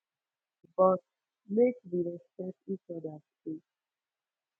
bo mek we respet each oda dey